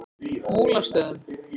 Múlastöðum